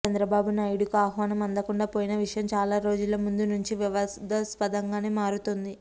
చంద్రబాబునాయుడుకు ఆహ్వానం అందకుండా పోయిన విషయం చాలారోజుల ముందునుంచి వివాదాస్పదంగానే మారుతోంది